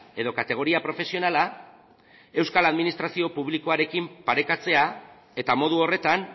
edo kategoria profesionala euskal administrazio publikoarekin parekatzea eta modu horretan